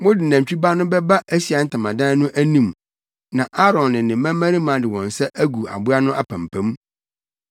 “Mode nantwi ba no bɛba Ahyiae Ntamadan no anim na Aaron ne ne mmabarima de wɔn nsa agu aboa no apampam.